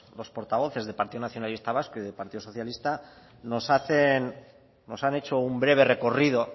los portavoces de partido nacionalista vasco y de partido socialista nos hacen nos han hecho un breve recorrido